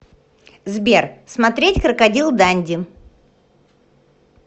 сбер смотреть крокодил данди